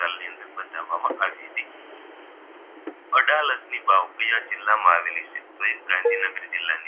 અડાલજની વાવ કયા જિલ્લા માં આવેલી છે તો એ ગાંધીનગર જિલ્લાની